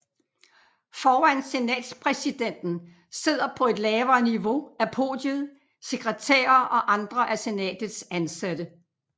Foran senatspræsidenten sidder på et lavere niveau af podiet sekretærer og andre af senatets ansatte